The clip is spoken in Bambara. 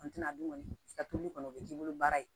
a dun kɔni i ka toli kɔni o bɛ k'i bolo baara ye